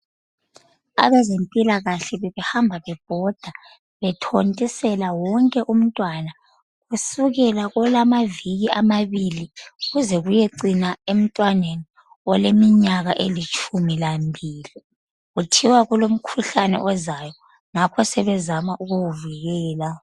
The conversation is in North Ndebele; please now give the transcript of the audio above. Abezempilakahle bebehamba bebhoda, bethontisela wonke umntwana kusukela kolamaviki amabili kuze kuyecina emntwaneni oleminyaka elitshumi lambili. Kuthiwa kulomkhuhlane ozayo, ngakho sebezama ukuwuvikela.